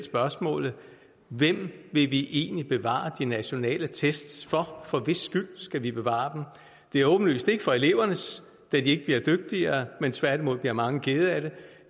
hvem vi egentlig vil bevare de nationale test for for hvis skyld skal vi bevare dem det er åbenlyst ikke for elevernes da de ikke bliver dygtigere men tværtimod bliver mange kede af det